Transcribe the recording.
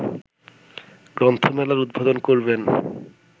গ্রন্থমেলার উদ্বোধন করবেন